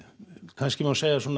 kannski má segja